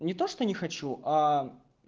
не то что не хочу а